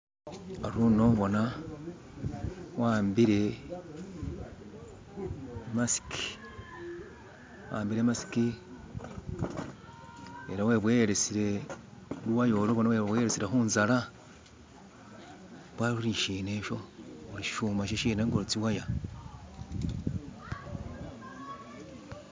Ari uno bona wa'ambile i'masiki ela weboyelesile luwaya ulwo khu'nzala mbwo ari ulishina sho? uri shishuma shishena nga tsiwaya